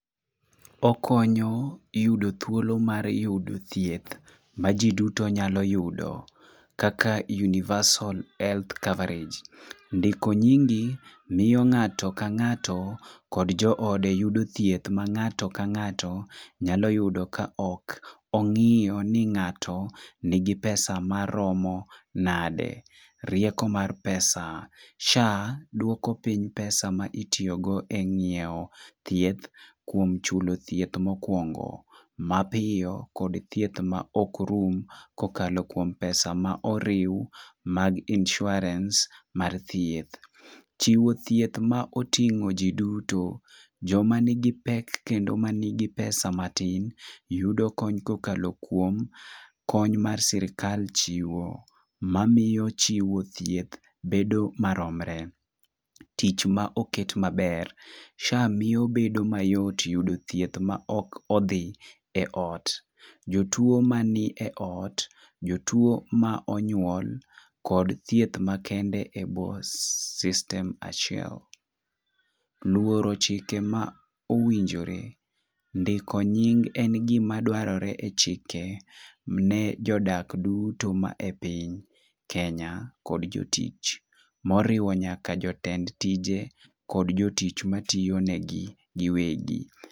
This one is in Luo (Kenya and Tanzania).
Okonyo yudo thuolo mar yudo thieth ma jii duto nyalo yudo kaka: universal health coverage. Ndiko nyingi miyo ng'ato ka ng'ato kod joode yudo thieth ma ng'ato ka ng'ato nyalo yudo ka ok ong'iyo ni ng'ato nigi pesa maromo nade. Rieko mar pesa, SHA duoko piny pesa maitiyo go e ng'iewo thieth kuom chulo thieth mokwongo mapiyo , kod thieth ma ok rum kokalo kuom pesa ma oriw mag insurance mar thieth. Chiwo thieth ma oting'o jii duto joma nigi pek kendo manigi pesa matin yudo kony kokalo kuom kony mar sirikal chiwo mamiyo chiwo thieth bedo maromre .Tich ma oket maber : SHA miyo obedo mayot yudo thieth ma ok odhi e ot jotuo manie ot, jotuo ma onyuol kod thieth makende e bwo system achiel. Luoro chike ma owinjore :ndiko nying en gima dwarore e chike ne jodak duto mae piny kenya kod jotich moriwo nyaka jotend tije kod jotich matiyo ne gi giwegi .